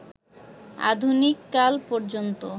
আধুনিককাল পর্যন্ত